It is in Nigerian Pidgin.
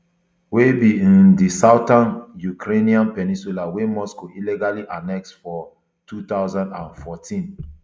wey be um di southern ukrainian peninsula wey moscow illegally annex for two thousand and fourteen